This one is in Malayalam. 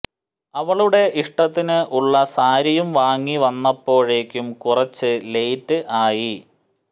അവളുടെ ഇഷ്ടത്തിന് ഉള്ള സാരിയും വാങ്ങി വന്നപ്പോഴേക്കും കുറച്ചു ലേറ്റ് ആയി